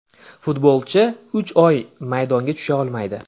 Futbolchi uch oy maydonga tusha olmaydi .